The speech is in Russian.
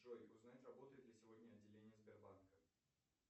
джой узнать работает ли сегодня отделение сбербанка